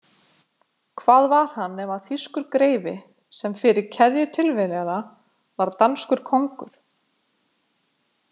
Hvað var hann nema þýskur greifi sem fyrir keðju tilviljana varð danskur kóngur?